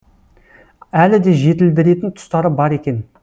әлі де жетілдіретін тұстары бар екен